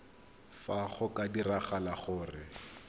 fa go ka diragala gore